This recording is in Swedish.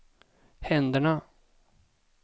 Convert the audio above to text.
händerna